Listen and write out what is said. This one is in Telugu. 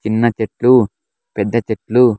చిన్న చెట్లు పెద్ద చెట్లు.